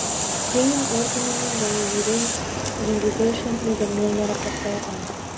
ленин орденімен және ерен еңбегі үшін медалімен марапатталған